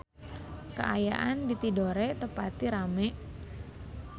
Kaayaan di Tidore teu pati rame